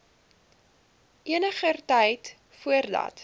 eniger tyd voordat